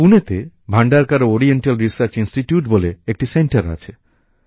পুনেতে Bhandarkar oriental research institute বলে একটি সেন্টার আছে